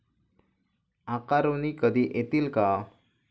आकारुनी कधी येतील का?